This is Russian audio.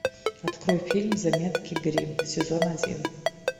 открой фильм заметки гримм сезон один